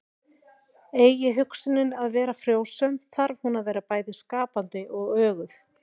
Eigi hugsunin að vera frjósöm þarf hún að vera bæði skapandi og öguð.